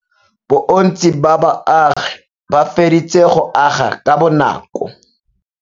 Bontsi ba baagi ba feditse go aga ka bonakô.